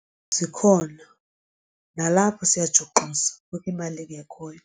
Zikhona, nalapho siyajuxuza apho imali ingekhoyo.